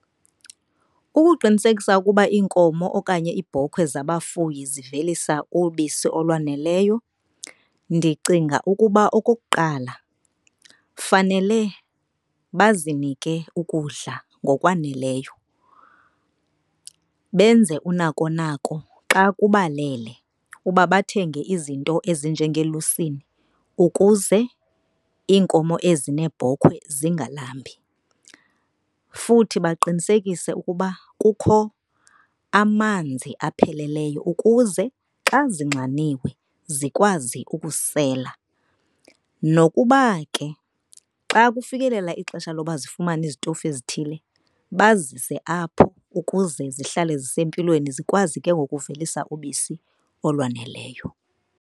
Ukuqinisekisa ukuba iinkomo okanye iibhokhwe zabafuyi zivelisa ubisi olwaneleyo ndicinga ukuba okokuqala, fanele bazinike ukudla ngokwaneleyo benze unakonako xa kubalele uba bathenge izinto ezinjengelusini ukuze iinkomo ezi neebhokhwe zingalambi. Futhi baqinisekise ukuba kukho amanzi apheleleyo ukuze xa zinxaniwe zikwazi ukusela. Nokuba ke xa kufikelela ixesha loba zifumane izitofu ezithile, bazise apho ukuze zihlale zisempilweni zikwazi ke ngoku uvelisa ubisi olwaneleyo.